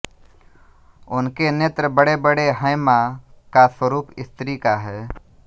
उनके नेत्र बडेबडे हैंमाँ का स्वरूप स्त्री का है